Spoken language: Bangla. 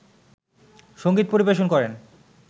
সংগীত পরিবেশন করেন